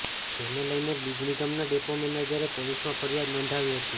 જેને લઇને બીજ નિગમના ડેપો મેનેજરે પોલીસમાં ફરિયાદ નોંધાવી હતી